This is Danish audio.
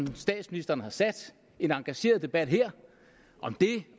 statsministeren har sat en engageret debat her om det